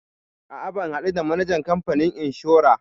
A'a ban haɗu da manajan kamfanin inshora.